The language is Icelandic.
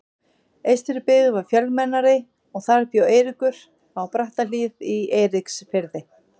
Eystribyggð var fjölmennari og þar bjó Eiríkur, á Brattahlíð í Eiríksfirði.